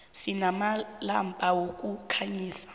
sinamalampa wokukhanyisa